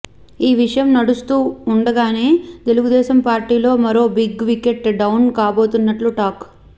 ఈ విషయం నడుస్తూ ఉండగానే తెలుగుదేశం పార్టీలో మరో బిగ్ వికెట్ డౌన్ కాబోతున్నట్లు టాక్